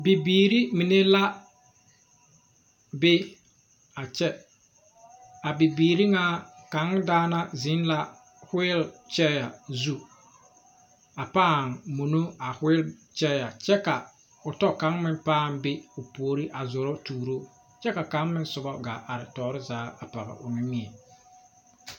Bibiiri mine la be a kyɛ a bibiiri ŋa kaŋ daana zeŋ la wheel chair zu a paa mɔnɔ a wheel chair kyɛ ka o tɔ kaŋ meŋ paa be o puoriŋ a zoro tuuro kyɛ ka kaŋ meŋ soba gaa are tɔɔre zaa a pɔge o nimmie.